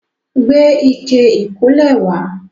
Gbé ike ìkólẹ̀ wá.